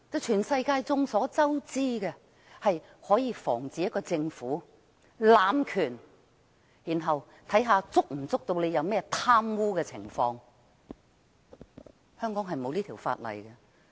眾所周知，這法例可以防止政府濫權，然後看看它有沒有貪污的情況，但香港偏偏沒有這法例。